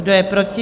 Kdo je proti?